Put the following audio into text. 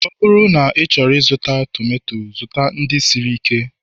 ọ bụrụ na ịchọrọ ịzụta tomato, zụta ndị siri ike